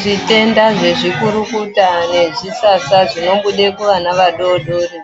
Zvitenda zvezvikukukuta nezvisasa zvinobude kuvana vadodori